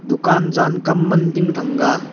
dukan jan kam man ding thang a.